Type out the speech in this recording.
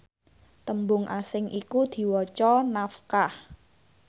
tembung asing iku diwaca nafkah